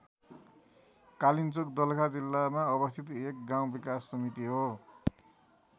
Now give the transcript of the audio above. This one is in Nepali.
कालिन्चोक दोलखा जिल्लामा अवस्थित एक गाउँ विकास समिति हो।